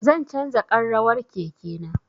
Zan canza ƙarrawar keke na